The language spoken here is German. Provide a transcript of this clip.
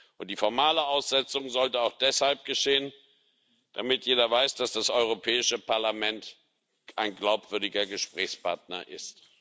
Und die formale Aussetzung sollte auch deshalb geschehen, damit jeder weiß, dass das Europäische Parlament ein glaubwürdiger Gesprächspartner ist.